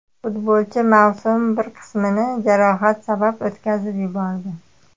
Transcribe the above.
Futbolchi mavsum bir qismini jarohat sabab o‘tkazib yubordi.